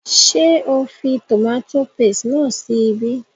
Ṣé o fi tòmátò paste náà sí ibí?